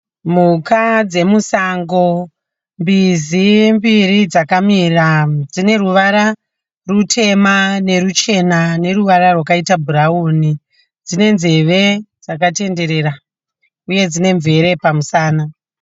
Mhuka dzekumsango. Mbizi mbiri dzakamira. Dzine ruvara rutema neruchena neruvara rwakaita bhurauni, Dzine nzeve dzakatenderera uye dzine nzeve kumusana.